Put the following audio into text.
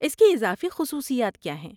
اس کی اضافی خصوصیات کیا ہیں؟